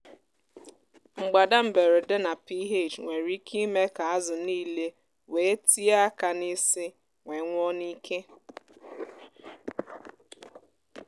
mgbádà mberede na ph nwere ike ime kà ázụ nílé wèé tíé aka n’isi wee nwụọ n’íkè.